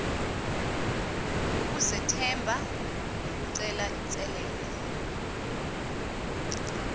ukuzethemba nokucela inselele